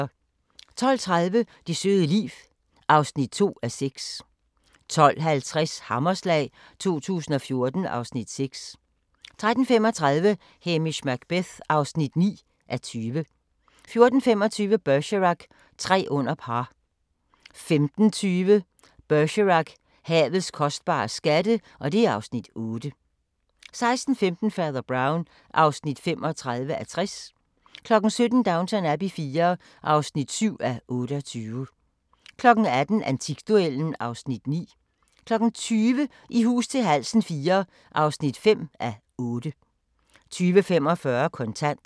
12:30: Det søde liv (2:6) 12:50: Hammerslag 2014 (Afs. 6) 13:35: Hamish Macbeth (9:20) 14:25: Bergerac: Tre under par 15:20: Bergerac: Havets kostbare skatte (Afs. 8) 16:15: Fader Brown (35:60) 17:00: Downton Abbey IV (7:28) 18:00: Antikduellen (Afs. 9) 20:00: I hus til halsen IV (5:8) 20:45: Kontant